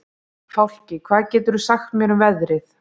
Fálki, hvað geturðu sagt mér um veðrið?